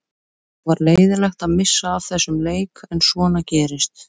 Það var leiðinlegt að missa af þessum leik en svona gerist.